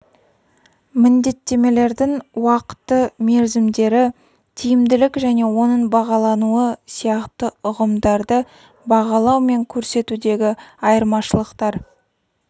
міндеттемелердің уақыты-мерзімдері тиімділік және оның бағалануы сияқты ұғымдарды бағалау мен көрсетудегі айырмашылықтар